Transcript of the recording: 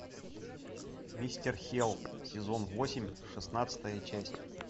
мистер хелл сезон восемь шестнадцатая часть